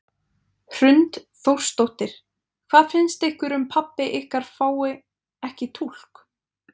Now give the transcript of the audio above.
Hrund Þórsdóttir: Hvað finnst ykkur um pabbi ykkar fái ekki túlk?